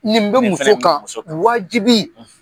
Nin bɛ muso kan ,nin fɛnɛ , wajibi, .